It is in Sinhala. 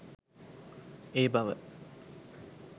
ඒ බව